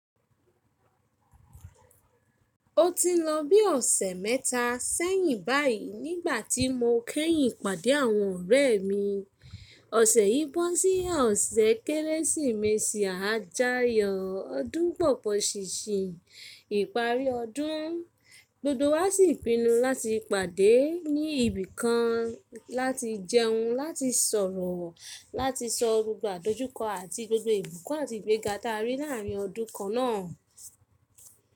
Ó ti nlọ bí ọ̀sẹ̀ mẹ́ta sẹ́yìn báyìí nígbà tí mo kẹ́yìn pàdé àwọn ọ̀rẹ́ mi. Ọ̀sẹ̀ yìí bọ́ sí ọ̀sẹ̀ Kérésìmesì àjáyọ̀, ọdún bọ̀ pọ̀ṣìṣì, ìparí ọdún. Gbogbo wa sì pinu láti pàdé ní ibì kan, láti jẹun, láti sọ̀rọ̀, láti sọ gbogbo àdojúkọ àti gbogbo ìbùkún àti ìgbẹ́ga ta rí láàrin ọdún kan náà.